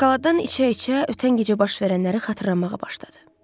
Şokoladdan içə-içə ötən gecə baş verənləri xatırlamağa başladı.